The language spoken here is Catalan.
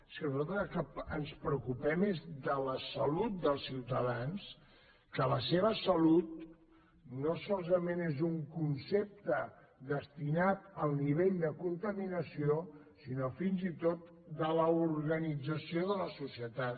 és que nosaltres del que ens preocupem és de la salut dels ciutadans que la seva salut no solament és un concepte destinat al nivell de contaminació sinó fins i tot de l’organització de la societat